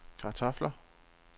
kartofler